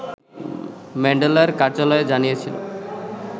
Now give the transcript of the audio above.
ম্যান্ডেলার কার্যালয় জানিয়েছিল